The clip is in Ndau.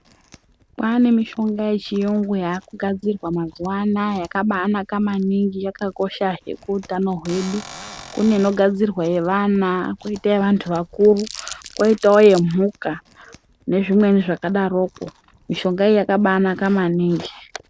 Kwane mishonga yechiyungu yakugadzirwa mazuwa anaya yakabanaka maningi yakakoshahe kuutano hwedu. Kune inogadzirwa yevana. Kwoita yevantu vakuru kwoitawo yemhuka nezvimweni zvakadaroko. Mishonga iyi yakabanaka maningi.